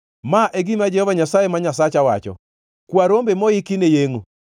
Ma e gima Jehova Nyasaye ma Nyasacha wacho: “Kwa rombe moiki ne yengʼo.